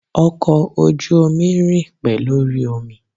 Ọkọ̀ ojú omi rìn pé lórí omi.